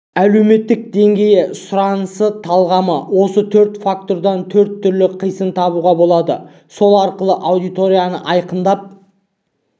әлеуметтік деңгейі сұранысы талғамы осы төрт фактордан төрт түрлі қисын табуға болады сол арқылы аудиторияны айқындап